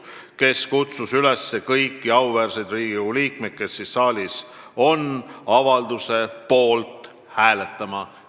Ta kutsus kõiki auväärseid Riigikogu liikmeid, kes saalis olid, selle avalduse poolt hääletama.